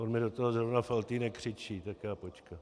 On mi do toho zrovna Faltýnek křičí, tak já počkám.